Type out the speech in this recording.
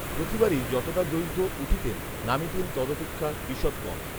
প্রতিবারই যতটা দৈর্ঘ্য উঠিতেন, নামিতেন তদপেক্ষা ঈষৎ কম